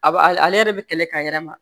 A b'a ale yɛrɛ bɛ kɛlɛ ka yɛrɛ ma